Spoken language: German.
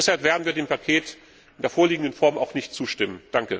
Deshalb werden wir dem Paket in der vorliegenden Form auch nicht zustimmen.